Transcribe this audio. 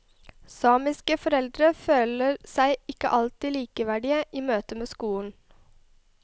Samiske foreldre føler seg ikke alltid likeverdige i møtet med skolen.